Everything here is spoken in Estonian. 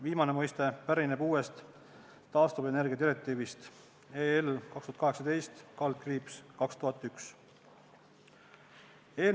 Viimane mõiste pärineb uuest taastuvenergiadirektiivist 2018/2001/EL.